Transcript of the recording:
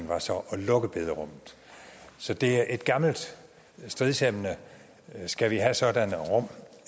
var så at lukke bederummet så det er et gammelt stridsemne skal vi have sådanne rum